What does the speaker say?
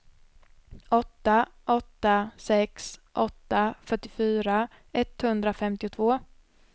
åtta åtta sex åtta fyrtiofyra etthundrafemtiotvå